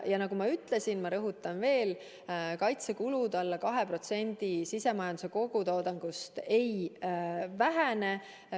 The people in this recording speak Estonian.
Nagu ma ütlesin, ma rõhutan veel, kaitsekulud alla 2% sisemajanduse kogutoodangust ei vähene.